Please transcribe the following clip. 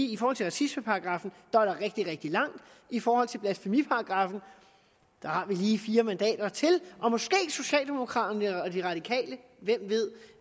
i forhold til racismeparagraffen er rigtig rigtig langt og i forhold til blasfemiparagraffen har vi lige fire mandater til og måske socialdemokraterne og de radikale hvem ved